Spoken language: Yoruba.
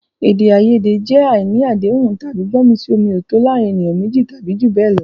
Èdè àìyedè jẹ́ àìní àdéhùn tàbí gbọ́mi-sí-omi-ò-tó o láàárín ènìyàn méjì tàbí jù bẹ́ẹ̀ lọ.